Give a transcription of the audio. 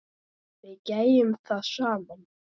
Við gerðum það saman.